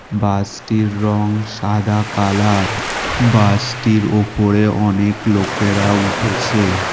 বাসটির রং সাদা কালার বাসটির ওপরে অনেক লোকেরা উঠেছে।